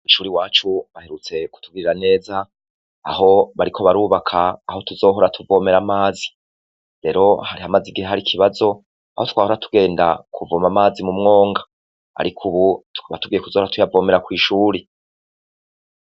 Kw'ishure iwacu baherutse kutugirira neza, aho bariko barubaka aho tuzohora tuvomera amazi, rero hari hamaze igihe har'ikibazo aho twahora tugenda kuvoma amazi mu mwonga, ariko ubu tukaba tugiye kuzohora tuyavomera kw'ishure.